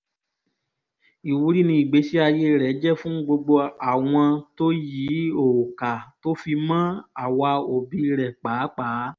ìwúrí ni ìgbésí ayé rẹ̀ jẹ́ fún gbogbo àwọn tó yìí ò kà tó fi mọ àwa òbí rẹ̀ pàápàá